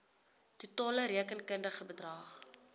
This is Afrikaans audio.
totale rekenkundige bedrag